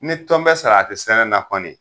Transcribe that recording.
Ni tɔn be salati sɛnɛ kɔni